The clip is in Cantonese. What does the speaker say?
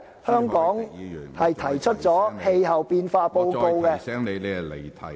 香港曾發表氣候變化報告......